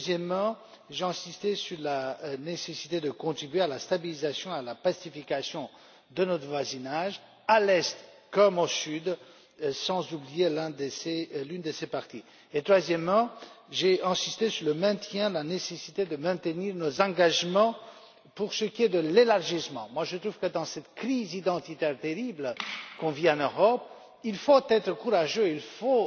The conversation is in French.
Deuxièmement, j'ai insisté sur la nécessité de contribuer à la stabilisation et à la pacification de notre voisinage à l'Est comme au Sud, sans oublier aucune de ses parties. Et, troisièmement, j'ai insisté sur le maintien de la nécessité de maintenir nos engagements pour ce qui est de l'élargissement. Je trouve que, dans cette crise identitaire terrible qu'on vit en Europe, il faut être courageux, il faut